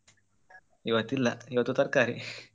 ಇವತ್ತು ಇಲ್ಲ ಇವತ್ತು ತರ್ಕಾರಿ ಹೌದೌದು.